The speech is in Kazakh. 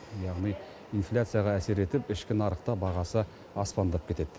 яғни инфляцияға әсер етіп ішкі нарықта бағасы аспандап кетеді